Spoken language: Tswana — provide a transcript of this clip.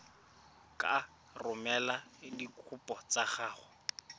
ka romela dikopo tsa gago